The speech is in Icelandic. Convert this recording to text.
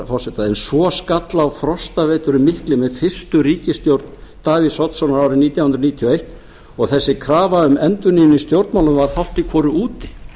forseta en svo skall á frostaveturinn mikli með fyrstu ríkisstjórn davíðs oddssonar árið nítján hundruð níutíu og eins og þessi krafa um endurnýjun í stjórnmálum varð hálft í hvoru úti